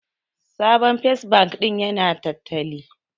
Sabon First bank din ya na tattali